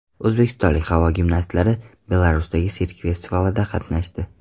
O‘zbekistonlik havo gimnastlari Belarusdagi sirk festivalida qatnashdi.